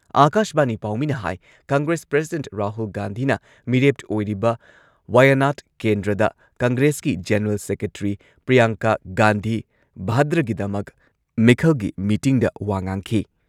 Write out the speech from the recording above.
ꯑꯥꯀꯥꯁꯕꯥꯅꯤ ꯄꯥꯎꯃꯤꯅ ꯍꯥꯏ ꯀꯪꯒ꯭ꯔꯦꯁ ꯄ꯭ꯔꯁꯤꯗꯦꯟꯠ ꯔꯥꯍꯨꯜ ꯒꯥꯟꯙꯤꯅ ꯃꯤꯔꯦꯞ ꯑꯣꯏꯔꯤꯕ ꯋꯥꯌꯥꯅꯥꯗ ꯀꯦꯟꯗ꯭ꯔꯗ ꯀꯪꯒ꯭ꯔꯦꯁꯀꯤ ꯖꯦꯅꯔꯦꯜ ꯁꯦꯀ꯭ꯔꯦꯇ꯭ꯔꯤ ꯄ꯭ꯔꯤꯌꯥꯡꯀꯥ ꯒꯥꯟꯙꯤ ꯚꯥꯗ꯭ꯔꯥꯒꯤꯗꯃꯛ ꯃꯤꯈꯜꯒꯤ ꯃꯤꯇꯤꯡꯗ ꯋꯥ ꯉꯥꯡꯈꯤ꯫